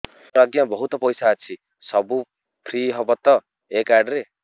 ମୋର ଆଜ୍ଞା ବହୁତ ପଇସା ଅଛି ସବୁ ଫ୍ରି ହବ ତ ଏ କାର୍ଡ ରେ